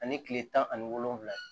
Ani kile tan ani wolonfila